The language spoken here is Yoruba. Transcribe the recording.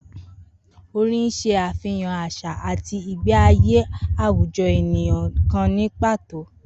Orin ń s̩e àfihàn às̩à àti ìgbé ayé àwùjo̩ ènìyàn kan ní pàtó